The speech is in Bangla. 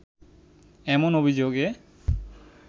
এমন অভিযোগে